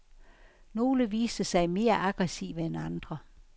Nogle viste sig mere aggressive end andre.